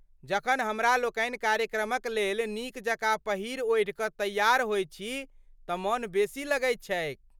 जखन हमरा लोकनि कार्यक्रमक लेल नीक जकाँ पहिरि ओढ़िकऽ तैयार होइत छी तँ मन बेसी लगैत छैक।